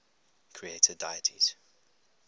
creator deities